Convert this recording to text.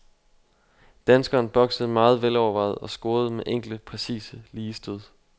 Danskeren boksede meget velovervejet og scorede med enkle, præcise, lige stød.